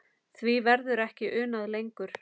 Því verður ekki unað lengur.